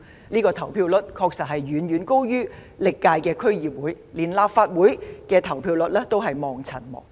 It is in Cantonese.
這個投票率確實遠高於歷屆區議會選舉，連立法會選舉的投票率也望塵莫及。